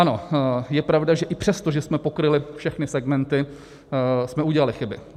Ano, je pravda, že i přesto, že jsme pokryli všechny segmenty, jsme udělali chyby.